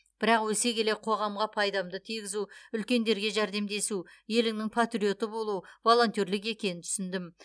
бірақ өсе келе қоғамға пайдамды тигізу үлкендерге жәрдемдесу еліңнің патриоты болу волонтерлік екенін түсіндім